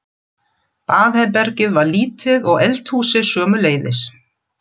Baðherbergið var lítið og eldhúsið sömuleiðis.